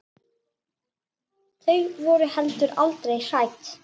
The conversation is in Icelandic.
Þau voru heldur aldrei hrædd.